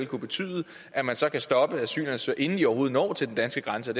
kunne betyde at man så kan stoppe asylansøgere inden de overhovedet når til den danske grænse